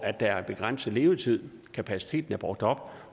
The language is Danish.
at der er en begrænset levetid at kapaciteten er brugt op